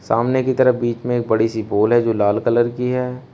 सामने की तरफ बीच में एक बड़ी सी बॉल है जो लाल कलर की है।